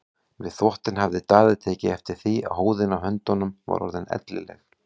Við þvottinn hafði Daði tekið eftir því að húðin á höndunum var orðin ellileg.